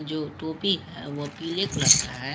जो टोपी है वह पीले कलर का है।